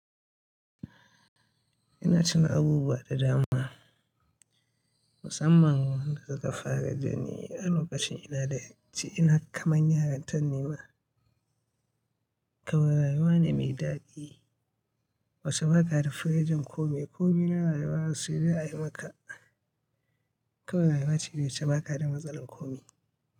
Ina tuna abubuwa da dama, musamman wanda suka faru da ni a lokacin ina da ci ina kaman yaranta ni ma. Kawai rayuwa ne mai daɗi, wasu ba ka rifirejin kome. Kome na rayuwa sai dai a yi maka. Kawai rayuwa ce wacce baka da matsalar komi.